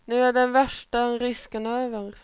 Nu är den värsta risken över.